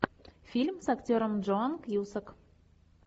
фильм с актером джон кьюсак